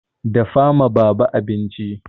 Dafa ma baba abinci!